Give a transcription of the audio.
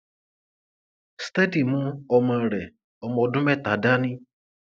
steady mú ọmọ rẹ ọmọ ọdún mẹta dání